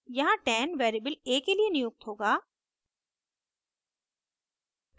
यहाँ 10 variable a के लिए नियुक्त होगा